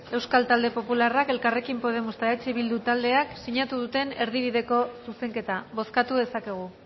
euskal talde popularrak elkarrekin podemos eta eh bildu taldeak sinatu duten erdibideko zuzenketa bozkatu dezakegu